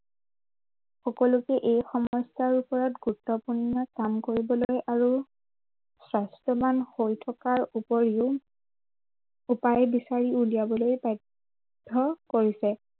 সকলোকে এই সমস্য়াৰ ওপৰত গুৰুত্বপূৰ্ণ কাম কৰিবলৈ আৰু স্বাস্থ্য়ৱান হৈ থকাৰ ওপৰিও উপায় বিচাৰি উলিয়াবলৈ বাধ্য় কৰিছে।